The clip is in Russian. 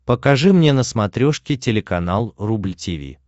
покажи мне на смотрешке телеканал рубль ти ви